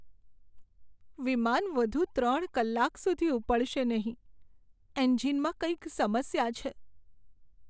વિમાન વધુ ત્રણ કલાક સુધી ઉપડશે નહીં. એન્જિનમાં કંઈક સમસ્યા છે.